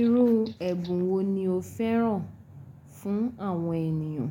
Irú ẹ̀bùn wo ni o fẹ́ràn fún àwọn ènìyàn?